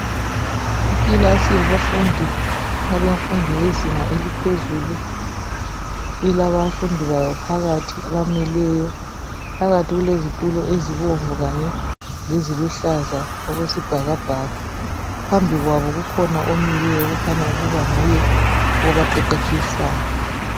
Ikilasi yabafundi, abafundi bezinga eliphezulu. Ilabafundi bayo phakathi abamileyo, phakathi kulezitulo ezibomvu kanye leziluhlaza okwesibhakabhaka, phambi kwabo kukhona omileyo okukhanya nguye obaqeqetshisayo.